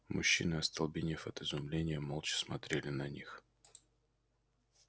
мужчина остолбенев от изумления молча смотрели на них